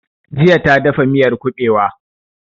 Jiya ta dafa miyar kuɓewa